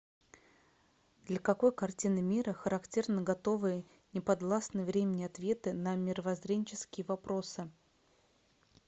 для какой картины мира характерны готовые неподвластные времени ответы на мировоззренческие вопросы